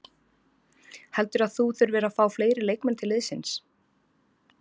Heldurðu að þú þurfir að fá fleiri leikmenn til liðsins?